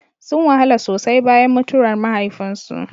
Sun wahala sosai bayan mutuwar mahaifinsu.